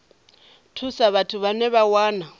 thusa vhathu vhane vha wana